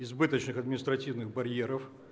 избыточных административных барьеров